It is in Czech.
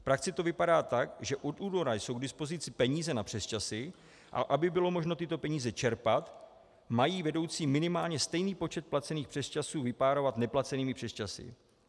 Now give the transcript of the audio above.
V praxi to vypadá tak, že od února jsou k dispozici peníze na přesčasy, a aby bylo možno tyto peníze čerpat, mají vedoucí minimálně stejný počet placených přesčasů vypárovat neplacenými přesčasy.